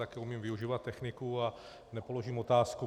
Taky umím využívat techniku a nepoložím otázku.